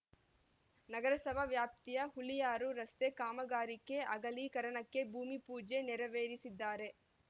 ನಗರಸಭಾ ವ್ಯಾಪ್ತಿಯ ಹುಳಿಯಾರು ರಸ್ತೆ ಕಾಮಗಾರಿಗೆ ಅಗಲೀಕರಣಕ್ಕೆ ಭೂಮಿ ಪೂಜೆ ನೆರವೇರಿಸಿದ್ದಾರೆ